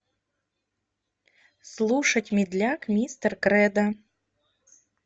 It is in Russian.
слушать медляк мистер кредо